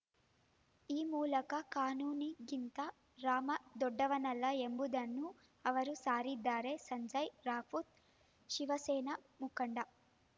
ಈ ಮೂಲಕ ಕಾನೂನಿಗಿಂತ ರಾಮ ದೊಡ್ಡವನಲ್ಲ ಎಂಬುದನ್ನು ಅವರು ಸಾರಿದ್ದಾರೆ ಸಂಜಯ ರಾವುತ್‌ ಶಿವಸೇನಾ ಮುಖಂಡ